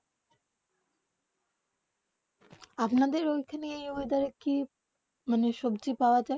আপনা দের ওখানে ওয়েদার কি মনে সবজি পাওয়া যায়